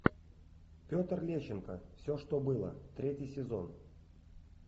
петр лещенко все что было третий сезон